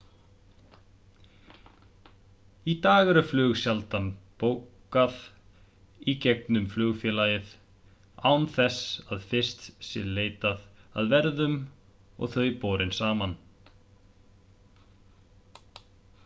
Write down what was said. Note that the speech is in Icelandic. í dag er flug sjaldan bókað í gegnum flugfélagið án þess að fyrst sé leitað að verðum og þau borin saman